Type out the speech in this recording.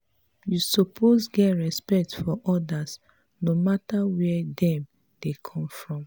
you suppose get respect for others no mata where dem dem come from.